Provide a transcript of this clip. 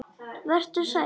Vertu sæll.